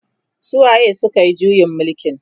su waye sukayi juyin mulkin?